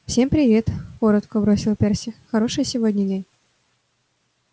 всем привет коротко бросил перси хороший сегодня день